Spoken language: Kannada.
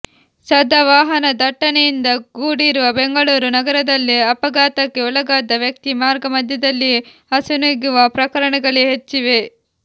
ಸದಾ ವಾಹನ ದಟ್ಟಣೆಯಿಂದ ಕೂಡಿರುವ ಬೆಂಗಳೂರು ನಗರದಲ್ಲಿ ಅಪಘಾತಕ್ಕೆ ಒಳಗಾದ ವ್ಯಕ್ತಿ ಮಾರ್ಗ ಮಧ್ಯೆದಲ್ಲಿಯೇ ಅಸುನೀಗುವ ಪ್ರಕರಣಗಳೇ ಹೆಚ್ಚಿವೆ